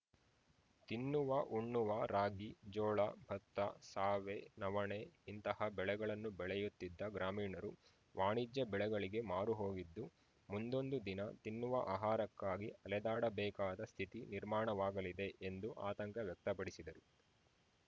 ತಿನ್ನುವಉಣ್ಣುವ ರಾಗಿ ಜೋಳ ಭತ್ತ ಸಾವೆ ನವಣೆ ಇಂತಹ ಬೆಳೆಗಳನ್ನು ಬೆಳೆಯುತ್ತಿದ್ದ ಗ್ರಾಮೀಣರು ವಾಣಿಜ್ಯ ಬೆಳೆಗಳಿಗೆ ಮಾರುಹೋಗಿದ್ದು ಮುಂದೊಂದು ದಿನ ತಿನ್ನುವ ಆಹಾರಕ್ಕಾಗಿ ಅಲೆದಾಡಬೇಕಾದ ಸ್ಥಿತಿ ನಿರ್ಮಾಣವಾಗಲಿದೆ ಎಂದು ಆತಂಕ ವ್ಯಕ್ತ ಪಡಿಸಿದರು